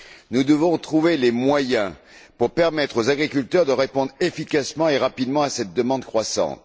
Nous devons trouver les moyens pour permettre aux agriculteurs de répondre efficacement et rapidement à cette demande croissante.